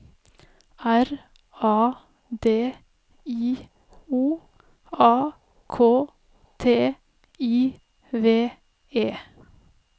R A D I O A K T I V E